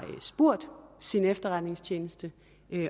spurgt sin efterretningstjeneste